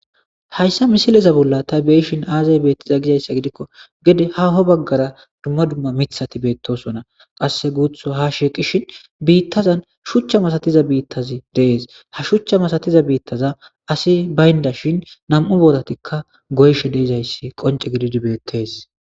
Hayssa misileza bolla ta beyshin aazay beettiza gizayssa gidikko gede haho baggara dumma dumma miththati beettosona qasse guuththu ha shiiqishin biittazan shuuchcha masatiza biittazi de'ees ha shuuchcha masatiza biittaza asi baynda shin nam'u booratikka goyishe de'izayssi qoncce gididi beettees